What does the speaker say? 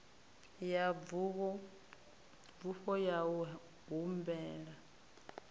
ya bufho ya u humela